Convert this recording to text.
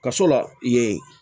Kaso la yen